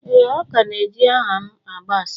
ee, ọ ka na eji aha'm agba asịrị.